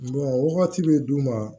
wagati bɛ d'u ma